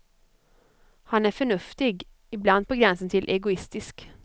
Han är förnuftig, ibland på gränsen till egoistisk.